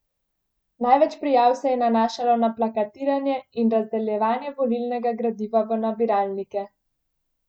Največ prijav se je nanašalo na plakatiranje in razdeljevanje volilnega gradiva v nabiralnike.